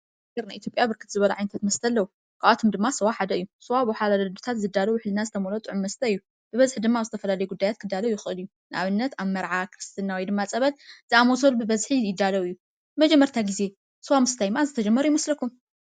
ኣብ ሃገርና ኢትዮጵያ ብርክት ዝበሉ መስት ኣለዎ ካባቶም ድማ ስዋ ሓደ እዩ። ስዋ ብዋሓላሉ ኣዴታት ዝዳሎ ውሕልና ዝተመልኦ ጥዑም መስት እዩ ።ብበዝሒ ድማ ኣብ ዝተፈላለዩ ጉዳያት ክዳሎ ይክእል እዩ። ንኣብነት ኣብ መርዓ ክርስትና ፀበል ዝኣመሰሉ ብበዝሒ ይዳሎ እዩ። ንመጀመርታ ጊዜ ስዋ ምስታይ መዓዝ ዝተጀመር ይመስለኩም?